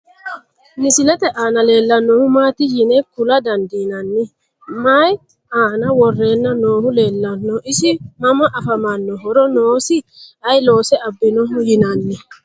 Misilette aanna leellanohu maatti yine kula dandiinnanni? Mayi aanna worrenna noohu leelanno? isi Mama affammanno? horo noosi? Ayi loose abinnoho yinaanni?